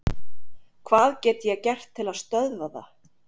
Hvað get ég gert til að stöðva það?